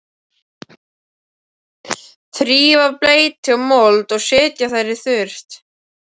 Þrífa af bleytu og mold og setja þær í þurrt.